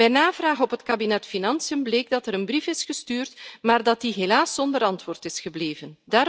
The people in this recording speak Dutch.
Bij navraag op het kabinet Financiën bleek dat er een brief is gestuurd, maar dat die helaas zonder antwoord is gebleven.